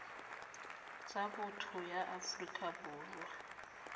tsa botho ya afrika borwa